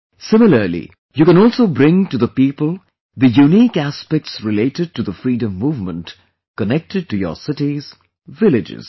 Similarly, you can also bring to the people the unique aspects related to the freedom movement connected to your cities, villages